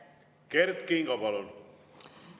Kert Kingo, palun!